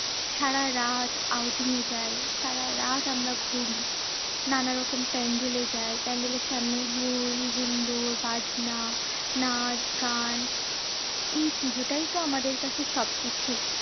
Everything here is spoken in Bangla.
সারারাত outing এ যাই সারারাত আমরা ঘুরি। নানা রকম pandal এ যাই pandal এর সামনে হৈ-হুল্লোড়, বাজনা, নাচ-গান। এই পুজোটাই তো আমাদের কাছে সব কিছু।